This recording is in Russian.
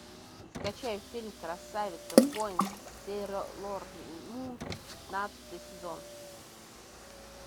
скачай фильм красавица воин сейлор мун пятнадцатый сезон